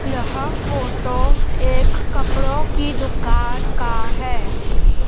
यह फोटो एक कपड़ों की दुकान का है।